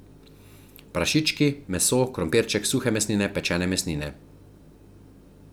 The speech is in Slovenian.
Prašički, meso, krompirček, suhe mesnine, pečene mesnine.